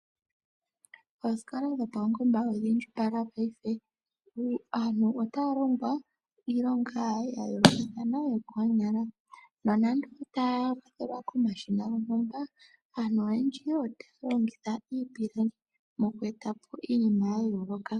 Oosikola dhopaungomba odha indjipala paife. Aantu otaya longwa iilonga ya yoolokathana yokoonyala. Nonando otaya kwathelwa komashina gontumba, aantu oyendji otaya longitha iipilangi moku eta po iinima ya yooloka.